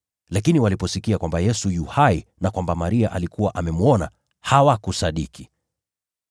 Lakini waliposikia kwamba Yesu yu hai na kwamba Maria alikuwa amemwona, hawakusadiki.